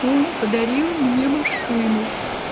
он подарил мне машину